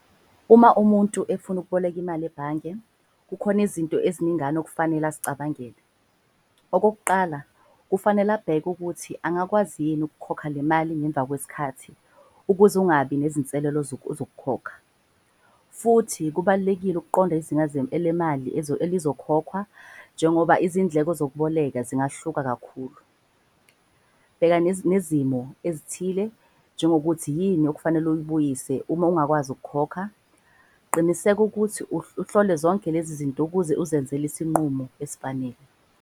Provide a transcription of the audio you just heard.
Uma umuntu efuna ukuboleka imali ebhange, kukhona izinto eziningana okufanele azicabangele. Okokuqala, kufanele abheke ukuthi angakwazi yini ukukhokha le mali ngemva kwezikhathi ukuze ungabi nezinselelo zokukhokha. Futhi kubalulekile ukuqonda elemali elizokhokhwa njengoba izindleko zokuboleka zingahluka kakhulu. Bheka nezimo ezithile njengokuthi yini okufanele uyibuyise uma ungakwazi ukukhokha. Qiniseka ukuthi uhlole zonke lezi zinto ukuze uzenzele isinqumo esifanele.